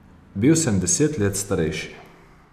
Bil sem deset let starejši.